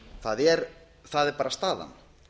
það er bara staðan